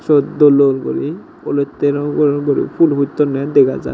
siot dol dol guri olotte rongor guri phool puttonne dega jar.